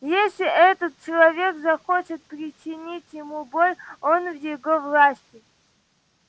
если этот человек захочет причинить ему боль он в его власти